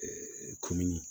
komin